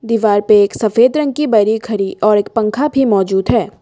दीवार पे एक सफेद रंग की बड़ी खड़ी और एक पंखा भी मौजूद है।